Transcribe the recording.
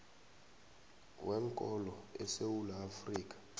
weenkolo esewula afrika